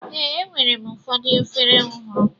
Ee, enwere m ụfọdụ efere ọhụrụ.